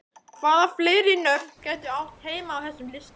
Hvaða fleiri nöfn gætu átt heima á þessum lista?